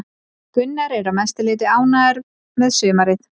Gunnar er að mestu leiti ánægður með sumarið.